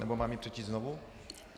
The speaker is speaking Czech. Nebo mám ji přečíst znovu?